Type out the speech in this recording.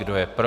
Kdo je pro?